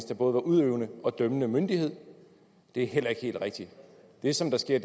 der både var udøvende og dømmende myndighed det er heller ikke helt rigtigt det som der sker